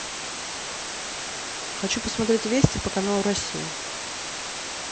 хочу посмотреть вести по каналу россия